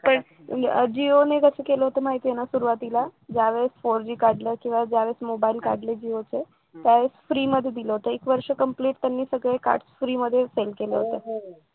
पण जिओ हे कसं गेलं होतं माहितीला सुरुवातीला ज्या वेळेस four G काढला किंवा ज्यावेळेस मोबाईल काढले जिओचे त्यावेळेस free मध्ये दिलं होतं एक वर्ष complete त्याने सगळे कार्ड free मध्ये sale केले होते